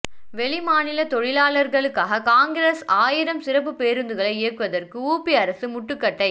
வெளிமாநில தொழிலாளர்களுக்காக காங்கிரஸ் ஆயிரம் சிறப்பு பேருந்துகளை இயக்குவதற்கு உபி அரசு முட்டுக்கட்டை